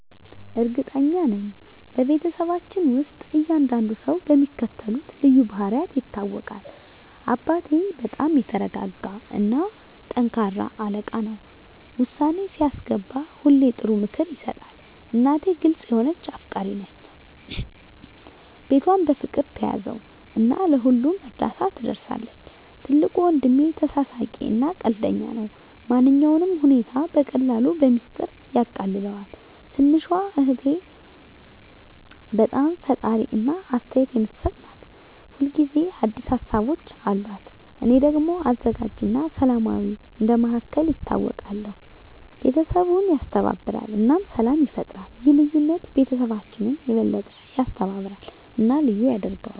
እርግጠኛ ነኝ፤ በቤተሰባችን ውስጥ እያንዳንዱ ሰው በሚከተሉት ልዩ ባህሪያት ይታወቃል - አባቴ በጣም የተረጋ እና ጠንካራ አለቃ ነው። ውሳኔ ሲያስገባ ሁሌ ጥሩ ምክር ይሰጣል። እናቴ ግልጽ የሆነች እና አፍቃሪች ናት። ቤቷን በፍቅር ትያዘው እና ለሁሉም እርዳታ ትደርሳለች። ትልቁ ወንድሜ ተሳሳቂ እና ቀልደኛ ነው። ማንኛውንም ሁኔታ በቀላሉ በሚስጥር ያቃልለዋል። ትንሹ እህቴ በጣም ፈጣሪ እና አስተያየት የምትሰጥ ናት። ሁል ጊዜ አዲስ ሀሳቦች አሉት። እኔ ደግሞ አዘጋጅ እና ሰላማዊ እንደ መሃከል ይታወቃለሁ። ቤተሰቡን ያስተባብራል እና ሰላም ይፈጥራል። ይህ ልዩነት ቤተሰባችንን የበለጠ ያስተባብራል እና ልዩ ያደርገዋል።